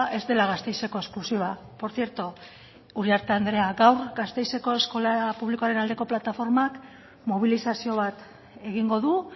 ez dela gasteizeko esklusiba por cierto uriarte andrea gaur gasteizeko eskola publikoaren aldeko plataformak mobilizazio bat egingo du